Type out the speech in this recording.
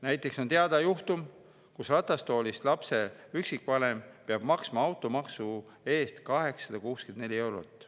Näiteks on teada juhtum, kus ratastoolis last kasvatav üksikvanem peab maksma automaksu 864 eurot.